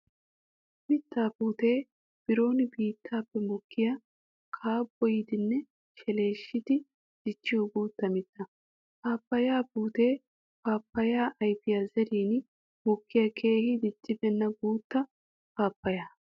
Mitta puute biron biittappe mokkiya kabboyiddinne sheleshiddi dichiyo guutta mitta. Paappaya puute paapaya ayfiya zerin mokkiya keehi diccibeenna guuta paappaya.